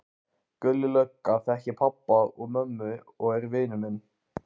Gulli lögga þekkir pabba og mömmu og er vinur minn.